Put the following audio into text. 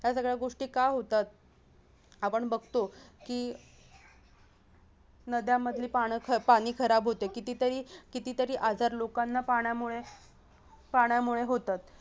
यासगळ्या गोष्टी का होतात? आपण बघतो की नद्यांमधील पाण-पाणी खराब होते कितीतरी आजार लोकांना पाण्यामुळे पाण्यामुळे होतात